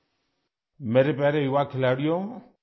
نمسکار میرے پیارے نوجوان کھلاڑیوں